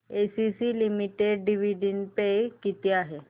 ACC limited dividend pay किती आहे